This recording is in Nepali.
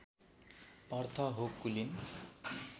अर्थ हो कुलीन